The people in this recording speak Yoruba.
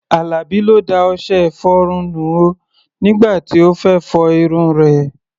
Àlàbí ló da ọṣẹ-ìfọrun nù o nígbà tí ó fẹ́ fọ irun rẹ̀.